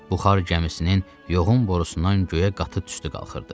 Buxar gəmisinin yoğun borusundan göyə qatı tüstü qalxırdı.